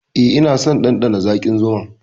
Eh, ina son ɗanɗana zaƙin zuma.